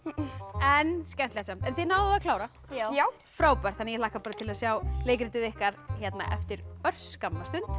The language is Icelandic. en skemmtilegt samt en þið náðuð að klára já já frábært ég hlakka til að sjá leikritið ykkar hérna eftir örskamma stund